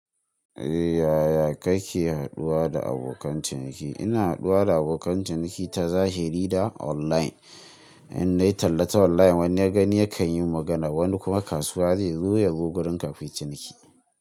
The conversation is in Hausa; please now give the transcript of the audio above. Eh yaya kake haɗuwa da abokan ciniki? Ina haɗuwa da abokan ciniki ta zahiri da online. In nai talata online wani ya gani yakan yi magana, wani kuma kasuwa zai zo yazo wurin ka ku yi ciniki.